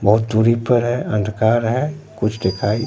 बहोत दूरी पर है अंधकार है कुछ दिखाई--